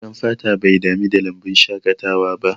Baƙar fata bai dami da lambun shaƙatawa ba